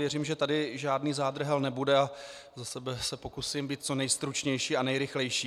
Věřím, že tady žádný zádrhel nebude, a za sebe se pokusím být co nejstručnější a nejrychlejší.